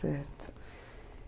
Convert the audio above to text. Certo.